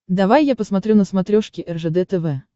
давай я посмотрю на смотрешке ржд тв